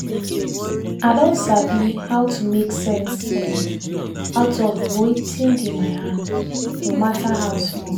i don sabi how to make sense um out of wetin dey my hand no matter how small.